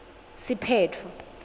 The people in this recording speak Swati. siphetfo